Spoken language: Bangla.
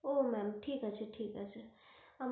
ও ma'am ঠিক আছে ঠিক আছে।